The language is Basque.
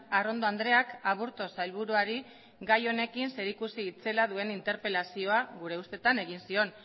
arrondo andreak aburto sailburuari gai honekin zerikusi itzela duen interpelazioa gure ustetan egin zion